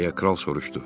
Deyə kral soruşdu.